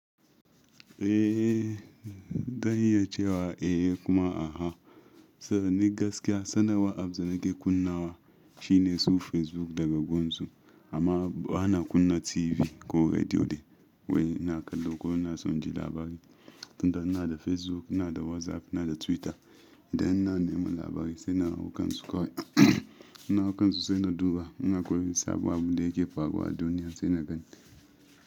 Eh, zan iya cewa eh kuma a'a. Saboda ni gaskiya sanarwa abz da nake kunnawa shine su Facebook daga gunsu. Amma bana kunna TV ko rediyo de, wai ina kallo ko ina son ji labari. Inda ina da Facebook, ina da WhatsApp, ina da Twitter idan ina neman labari sai na hau kansu kawai. Ina hau kansu sai na duba, in akwai wani sabo abun da yake faruwa duniya sai na gani.